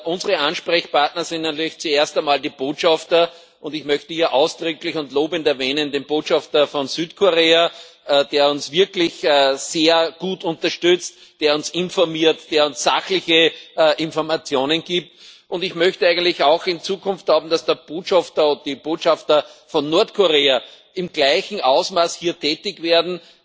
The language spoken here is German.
Unsere Ansprechpartner sind natürlich zuerst einmal die Botschafter, und ich möchte hier ausdrücklich und lobend den Botschafter von Südkorea erwähnen, der uns wirklich sehr gut unterstützt, der uns informiert, der uns sachliche Informationen gibt, und ich möchte eigentlich auch glauben, dass der Botschafter oder die Botschafter von Nordkorea in Zukunft im gleichen Ausmaß hier tätig werden.